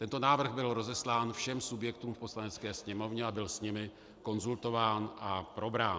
Tento návrh byl rozeslán všem subjektům v Poslanecké sněmovně a byl s nimi konzultován a probrán.